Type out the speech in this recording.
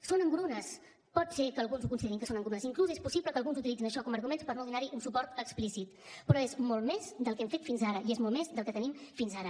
són engrunes pot ser que alguns considerin que són engrunes inclús és possible que alguns utilitzin això com arguments per no donar hi un suport explícit però és molt més del que hem fet fins ara i és molt més del que tenim fins ara